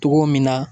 Togo min na